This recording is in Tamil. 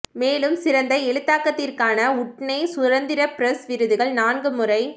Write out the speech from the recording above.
மேலும் சிறந்த எழுத்தாக்கத்திற்காக உட்னே சுதந்திர பிரஸ் விருதுகள் நான்கு முறை